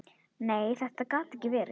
Nei, þetta gat ekki verið.